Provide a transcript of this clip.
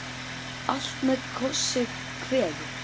Allt með kossi kveður.